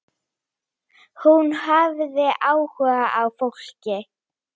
Hún hafði áhuga á fólki.